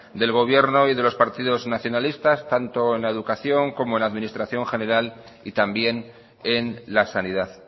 del gobierno y de los partidos nacionalistas tanto en educación como en la administración general y también en la sanidad